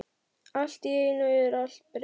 Allt í einu er allt breytt.